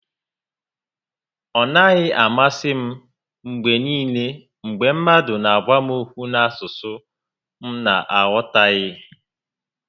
Ọ naghị amasị m mgbe niile mgbe mmadụ n'agwa m okwu n'asụsụ m na aghọtaghị